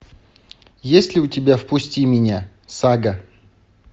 есть ли у тебя впусти меня сага